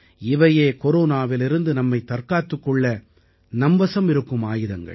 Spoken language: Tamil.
இவையே கொரோனாவிலிருந்து நம்மைத் தற்காத்துக் கொள்ள நம்வசம் இருக்கும் ஆயுதங்கள்